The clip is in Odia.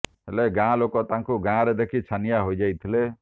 ହେଲେ ଗାଁ ଲୋକେ ତାଙ୍କୁ ଗାଁରେ ଦେଖି ଛାନିଆ ହୋଇଯାଇଥିଲେ